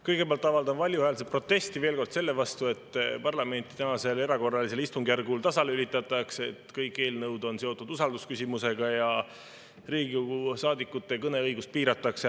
Kõigepealt avaldan valjuhäälselt protesti veel kord selle vastu, et parlamenti tänasel erakorralisel istungjärgul tasalülitatakse – kõik eelnõud on seotud usaldusküsimusega ja Riigikogu saadikute kõneõigust piiratakse.